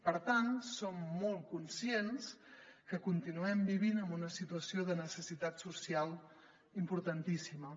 per tant som molt conscients que continuem vivint en una situació de necessitat social importantíssima